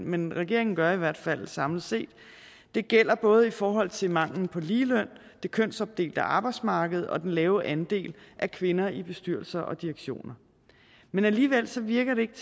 men regeringen gør i hvert fald samlet set det gælder både i forhold til manglen på ligeløn det kønsopdelte arbejdsmarked og den lave andel af kvinder i bestyrelser og direktioner men alligevel virker det ikke